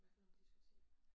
Hvad for nogen diskoteker?